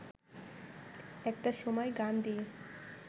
একটা সময় গান দিয়ে